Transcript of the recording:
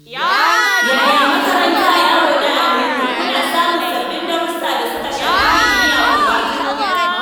Yaya makaranta, yarona Aminu? Kuna samun sababbin darussa da suka shafi kimiyya kuwa?